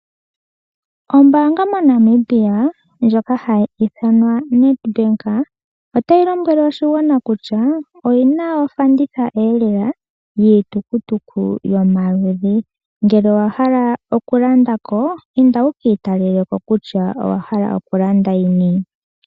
Ombaanga MoNamibia ndjoka hayi ithanwa Nedbank otayilombwele oshigwana kutya oyina ofanditha lela yiitukutu yomaludhi, ngele owahala okulandako inda wuki italeleko kutya owahala okulanda yini.